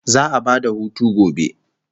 Za'a ba da hutu gobe